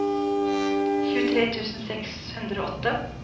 tjuetre tusen seks hundre og åtte